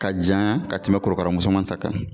Ka janya ka tɛmɛ korokara musoman ta kan.